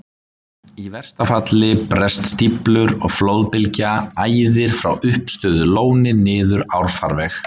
Í versta falli bresta stíflur, og flóðbylgja æðir frá uppistöðulóni niður árfarveg.